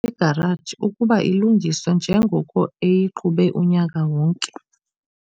egaraji ukuba ilungiswe njengoko eyiqhube unyaka wonke.